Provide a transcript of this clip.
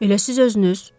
Elə siz özünüz.